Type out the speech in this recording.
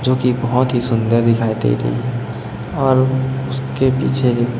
जो कि बहुत ही सुंदर दिखाई दे रही है और उसके पीछे--